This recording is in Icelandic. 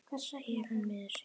segir hann miður sín.